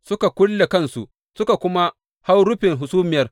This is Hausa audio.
Suka kulle kansu, suka kuma hau rufin hasumiyar.